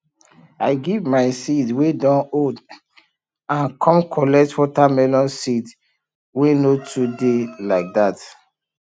i give my seed wey don old and com collect watermelon seed wey no too dey like that